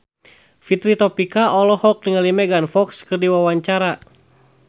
Fitri Tropika olohok ningali Megan Fox keur diwawancara